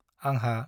आंहा